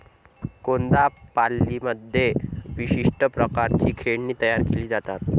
कोन्दापाल्लीमध्ये विशिष्ट प्रकारची खेळणी तयार केली जातात.